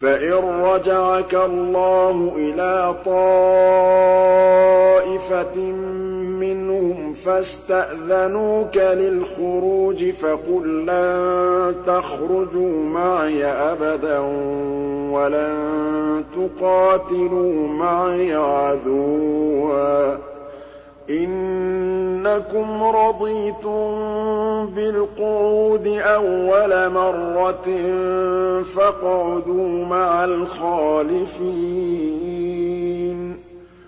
فَإِن رَّجَعَكَ اللَّهُ إِلَىٰ طَائِفَةٍ مِّنْهُمْ فَاسْتَأْذَنُوكَ لِلْخُرُوجِ فَقُل لَّن تَخْرُجُوا مَعِيَ أَبَدًا وَلَن تُقَاتِلُوا مَعِيَ عَدُوًّا ۖ إِنَّكُمْ رَضِيتُم بِالْقُعُودِ أَوَّلَ مَرَّةٍ فَاقْعُدُوا مَعَ الْخَالِفِينَ